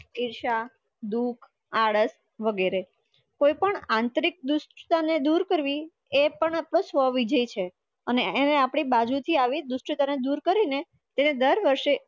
ઈર્ષા દુખ આડસ વગેરે કોઈ પણ આત્રિક દુષ્ટતા દૂર કરવી એપણ અપડો સ્વવિજય છે, અને એની બાજુથી આવી દુષ્ટતાને દૂર કરીને તેને દરવરસે